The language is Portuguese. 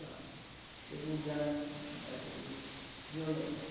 Chega o inverno daqueles violento.